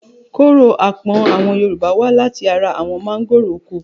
Kóró apọ̀n àwọn Yorùbá wá láti ara àwọn mángòrò oko.